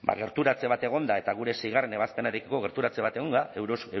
gerturatze bat egonda eta gure seigarren ebazpenarekiko gerturatze bat egonda